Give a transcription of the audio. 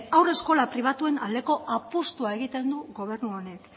eta haurreskola pribatuen aldeko apustua egiten du gobernu honek